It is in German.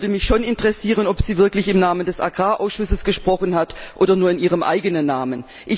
Es würde mich schon interessieren, ob sie wirklich im Namen des Landwirtschaftsausschusses gesprochen hat oder nur in ihrem eigenen Namen.